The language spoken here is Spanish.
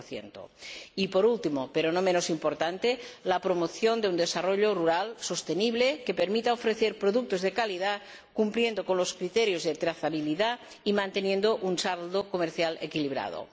11 y, por último, pero no menos importante, la promoción de un desarrollo rural sostenible que permita ofrecer productos de calidad cumpliendo con los criterios de trazabilidad y manteniendo un saldo comercial equilibrado.